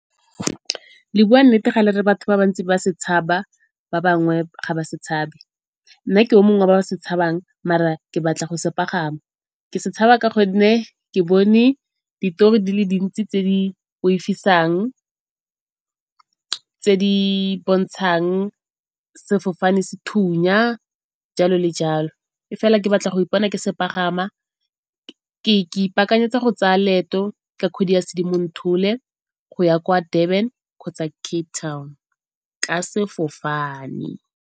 Le bua nnete fa le re batho ba bantsi ba se tshaba ba bangwe ga ba se tshabe. Nna ke yo mongwe wa ba ba se tshabang mara ke batla go se pagama. Ke se tshaba ka gonne ke bone ditori di le dintsi tse di boifisang, tse di bontshang sefofane se thunya, jalo le jalo. E fela ke batla go ipona ke se pagama, ke ipaakanyetsa go tsaya leeto ka kgwedi ya Sedimonthole go ya kwa Durban kgotsa Cape Town ka sefofane.